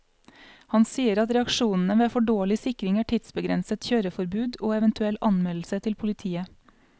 Han sier at reaksjonene ved for dårlig sikring er tidsbegrenset kjøreforbud og eventuell anmeldelse til politiet.